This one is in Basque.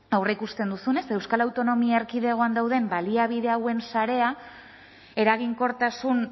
aurreikusten duzunez euskal autonomia erkidegoan dauden baliabide hauen sarea eraginkortasun